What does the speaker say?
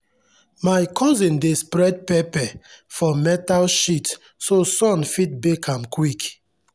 my cousin dey spread pepper for metal sheet so sun fit bake am quick.